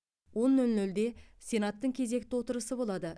он нөл нөлде сенаттың кезекті отырысы болады